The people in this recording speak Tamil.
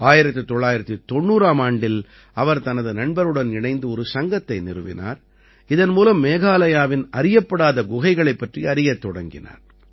1990 ஆம் ஆண்டில் அவர் தனது நண்பருடன் இணைந்து ஒரு சங்கத்தை நிறுவினார் இதன் மூலம் மேகாலயாவின் அறியப்படாத குகைகளைப் பற்றி அறியத் தொடங்கினார்